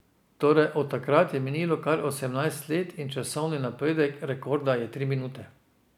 Torej od takrat je minilo kar osemnajst let in časovni napredek rekorda je tri minute.